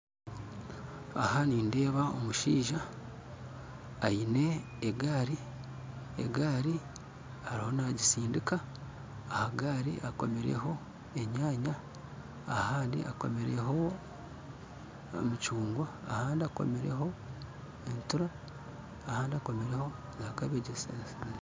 Aha nindeeba omushaija aine egaari ariho nagitsindiika aha gaari akomireho enyaanya ahandi akomeireho emicugwa ahandi akomireho entuura ahandi akomireho na kabeegi ezishazirwe